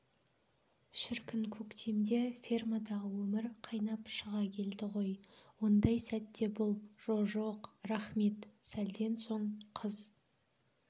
шіркін көктемде фермадағы өмір қайнап шыға келді ғой ондай сәтте бұл жо-жоқ рақмет сәлден соң қыз